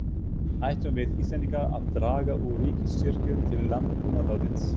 Ættum við Íslendingar að draga úr ríkisstyrkjum til landbúnaðarins?